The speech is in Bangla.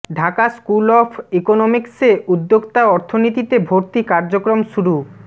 ঢাকা স্কুল অব ইকোনমিকসে উদ্যোক্তা অর্থনীতিতে ভর্তি কার্যক্রম শুরু